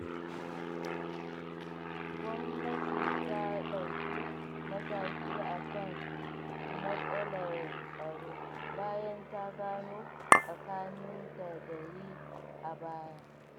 Gwamnati ta ɗauki mataki a kan matsalar tsaro, bayan ta gano sakacin da ta yi a baya.